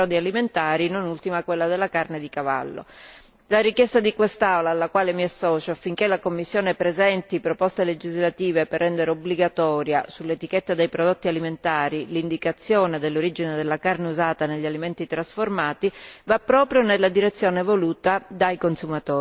La richiesta di quest'Aula, alla quale mi associo, affinché la Commissione presenti proposte legislative per rendere obbligatoria sull'etichetta dei prodotti alimentari l'indicazione dell'origine della carne usata negli alimenti trasformati, va proprio nella direzione voluta dai consumatori, sui quali però non devono caricarsi maggiori costi.